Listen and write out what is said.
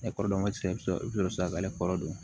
Ne kɔrɔkɛ sisan i bɛ sɔrɔ ka ne kɔrɔ don